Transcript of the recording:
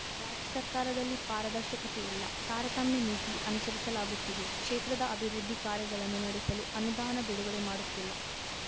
ರಾಜ್ಯ ಸರ್ಕಾರದಲ್ಲಿ ಪಾರದರ್ಶಕತೆ ಇಲ್ಲ ತಾರತಮ್ಯ ನೀತಿ ಅನುಸರಿಸಲಾಗುತ್ತಿದೆ ಕ್ಷೇತ್ರದ ಅಭಿವೃದ್ಧಿ ಕಾರ್ಯಗಳನ್ನು ನಡೆಸಲು ಅನುದಾನ ಬಿಡುಗಡೆ ಮಾಡುತ್ತಿಲ್ಲ